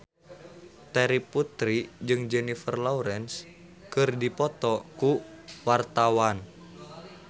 Terry Putri jeung Jennifer Lawrence keur dipoto ku wartawan